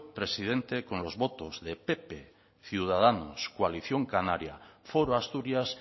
presidente con los votos de pp ciudadanos coalición canaria foro asturias